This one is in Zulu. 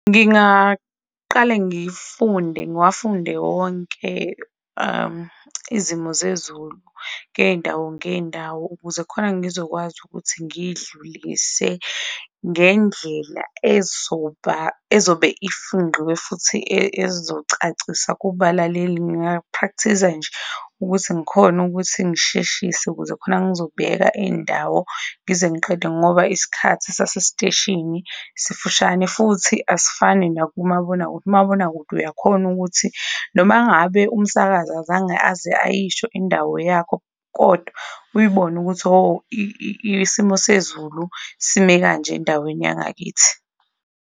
Ngingaqale ngifunde ngiwafunde wonke izimo zezulu ngey'ndawo, ngeyindawo, ukuze khona ngizokwazi ukuthi ngidlulise ngendlela ezobe ifingqiwe futhi ezocacisa kubalaleli. Nga-practice-a nje ukuthi ngikhone ukuthi ngisheshise ukuze khona ngizobheka iyindawo ngize ngiqede ngoba isikhathi sase steshini sifushane futhi asifani nakumabonakude. Umabonakude uyakhona ukuthi noma ngabe umsakazi azange aze ayisho indawo yakho, kodwa uyibone ukuthi oh isimo sezulu sime kanje endaweni yangakithi.